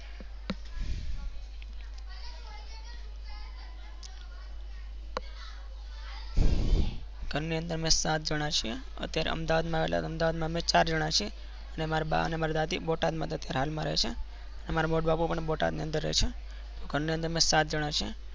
અને અંદર અમે સાત જના છીએ. અત્યારે અમદાવાદમાં આવેલા અમે ચાર જાના છીએ ને મારા બા અને મારા દાદી બોટાદમાં હાલ રહે ને મારા મોટાબાપા પણ બોટાદ માં રહે છે.